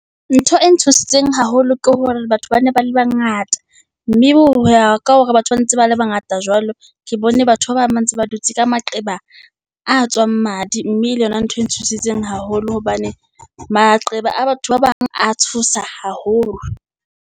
Ntho e ntshositseng haholo ke hore batho ba ne ba le bangata. Mme hoya ka hore batho ba ntse ba le bangata jwalo, ke bone batho ba bang ba ntse ba dutse ka maqeba a tswang madi. Mme le yona ntho e ntshositseng haholo hobane maqeba a batho ba bang a tshosa haholo.